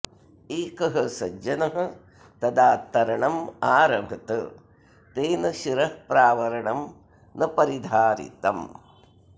एकः सज्जनः तदा तरणम् आरभत तेन शिरःप्रावरणम् न परिधारितम्